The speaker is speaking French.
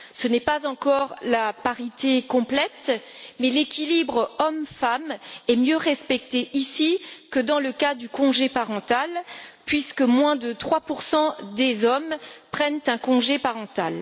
Ce n'est pas encore la parité complète mais l'équilibre hommes femmes est mieux respecté ici que dans le cas du congé parental, puisque moins de 3 des hommes prennent un congé parental.